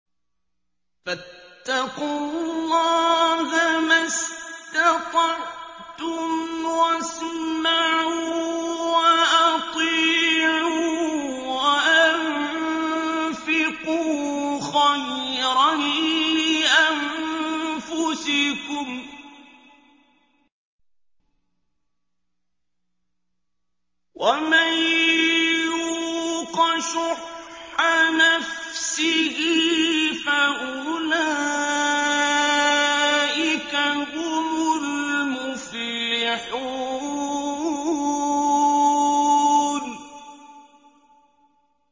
فَاتَّقُوا اللَّهَ مَا اسْتَطَعْتُمْ وَاسْمَعُوا وَأَطِيعُوا وَأَنفِقُوا خَيْرًا لِّأَنفُسِكُمْ ۗ وَمَن يُوقَ شُحَّ نَفْسِهِ فَأُولَٰئِكَ هُمُ الْمُفْلِحُونَ